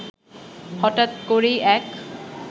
হঠাৎ করেই এক